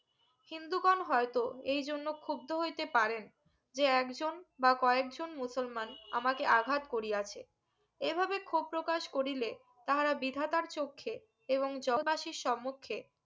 হিন্দু গন হইতো এই জন্য ক্ষুব্দ হইতে পারেন যে একজন বা কয়েকজন মুসলমান আমাকে আঘাত করিয়াছে এভাবে ক্ষোভ প্রকাশ করিলে তাহারা বিধাতার চোখখে এবং যতাশী সম্মুখে